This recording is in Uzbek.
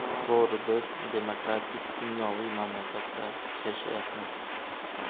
To‘g‘ri, biz demokratik-dunyoviy mamlakatda yashayapmiz.